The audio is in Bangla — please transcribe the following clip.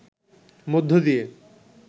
মধ্য দিয়ে